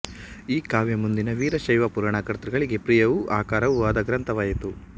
ಈ ಕಾವ್ಯ ಮುಂದಿನ ವೀರಶೈವ ಪುರಾಣ ಕರ್ತೃಗಳಿಗೆ ಪ್ರಿಯವೂ ಆಕರವೂ ಆದ ಗ್ರಂಥವಾಯಿತು